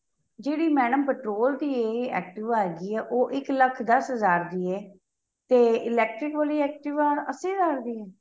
ਜਿਹੜੀ madam petrol ਦੀ ਏ activa ਹੈਗੀ ਏ ਉਹ ਇੱਕ ਲੱਖ਼ ਦੱਸ ਹਜ਼ਾਰ ਦੀ ਏ ਤੇ electric ਵਾਲੀ activa ਅੱਸੀ ਹਜ਼ਾਰ ਦੀ ਏ